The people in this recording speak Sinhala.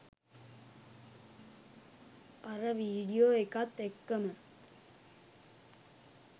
අර වීඩියෝ එකත් එක්කම